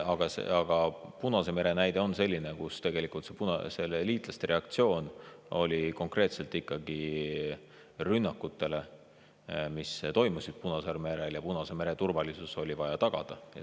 Aga Punase mere näide on selline, kus liitlaste reaktsioon oli konkreetselt ikkagi rünnakutele, mis toimusid Punasel merel, ja Punase mere turvalisus oli vaja tagada.